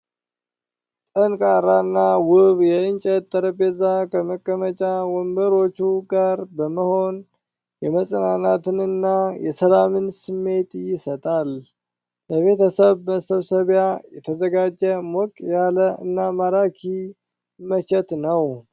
ጠንካራና ውብ የእንጨት ጠረጴዛ ከመቀመጫ ወንበሮቹ ጋር በመሆን የመጽናናትንና የሰላምን ስሜት ይሰጣል። ለቤተሰብ መሰባሰቢያ የተዘጋጀ ሞቅ ያለ እና ማራኪ መቼት ነው!